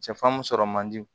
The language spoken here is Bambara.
Sɛfan mun sɔrɔ man di